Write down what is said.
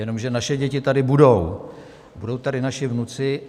Jenomže naše děti tady budou, budou tady naši vnuci.